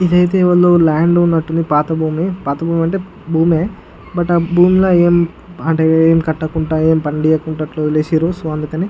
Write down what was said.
ఇదైతే ల్యాండ్ ఉన్నట్టుండి పాత భూమి పాత భూమంటే భూమే బట్ ఆ భూమీద అంటే ఎం కట్టకుంటే ఎం పనిలేకుండా అట్లా ఒదిలెసిరు సో అందుకని.